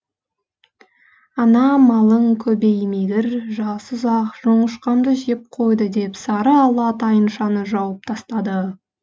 ана малың көбеймегір жасұзақ жоңышқамды жеп қойды деп сарыала тайыншаны жауып тастапты